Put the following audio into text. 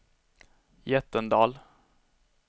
Jättendal